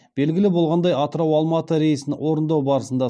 белгілі болғандай атырау алматы рейсін орындау барысында